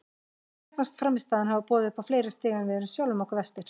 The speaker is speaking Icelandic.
Mér fannst frammistaðan hafa boðið upp á fleiri stig en við erum sjálfum okkur verstir.